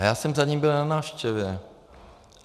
A já jsem za ním byl na návštěvě.